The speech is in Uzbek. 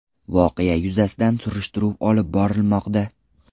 Voqea yuzasidan surishtiruv olib borilmoqda.